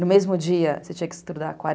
No mesmo dia, você tinha que estudar quaren